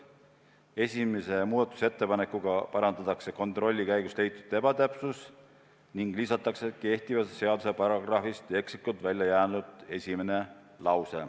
Esimese muudatusettepanekuga parandatakse kontrolli käigus leitud ebatäpsus ning lisatakse esimene lause kehtiva seaduse paragrahvist, mis oli ekslikult välja jäänud.